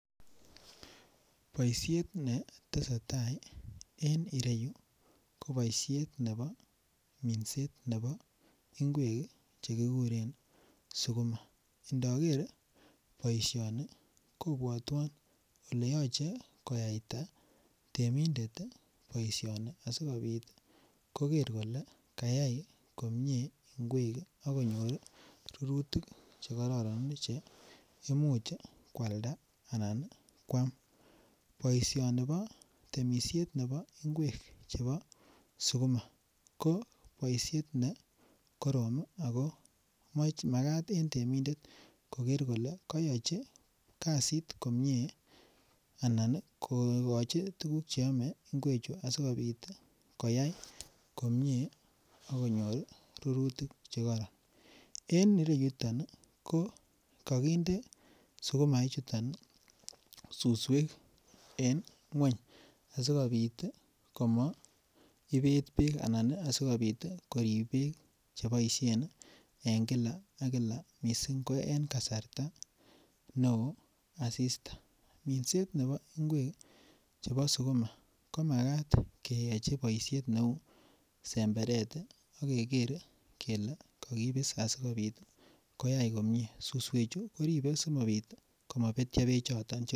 Boishet ne tesetai en ireyu ko boishet nebo minset nebo ngwek che kiguren sukuma, indoger boisioni kobwotwon ole yoche koyayta temindet ii boisioni asikopit koger kole kayay komie ngwek akonyor rurutik che kororon che imuche kwalda anan kwam. Boisioni bo temisiet nebo ngwek chebo sukuma ko boishet ne korom Ako mach makat en temindet koger kole koyochi kazit komie anan kogochi tuguk che oome ngwechu asikopit koyay komie akonyor rurutik che koron. En ireyuton ko kokinde sukuma chuton ii suswek en ngweny asikopit komo ibet beek anan asikopit korib beek che boishen en Kila ak Kila missing en kasarta ne oo asista, minset nebo ngwek chebo sukuma ko makat keyochi boishet ne uu semberet ii ogere kelee kogibis asikopit koyay komie suswechu koribe asikopit komo betyo bechoton che